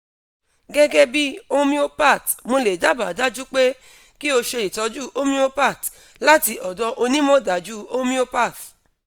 gegebi homeopath mo le daba daju pe ki o se itoju homeopath lati odo onimodaju homeopath